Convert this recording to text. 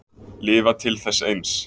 Lifa til þess eins.